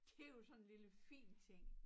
Det jo sådan en lille fin ting